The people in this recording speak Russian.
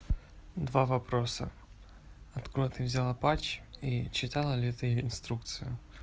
два вопроса откуда ты взяла патч и читала ли ты инструкцию